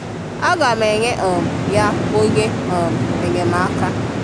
A ga m enye um ya onye um enyemaka.